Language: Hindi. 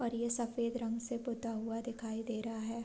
और यह सफेद रंग से पुता हुआ दिखाई दे रहा है।